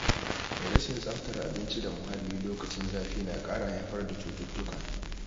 Rashin tsaftar abinci da muhalli lokacin zafi na ƙara haifar da cututtuka.